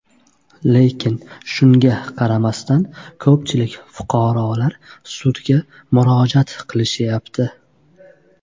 Lekin shunga qaramasdan, ko‘pchilik fuqarolar sudga murojaat qilishyapti.